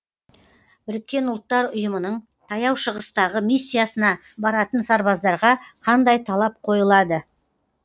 біріккен ұлттар ұйымының таяу шығыстағы миссиясына баратын сарбаздарға қандай талап қойылады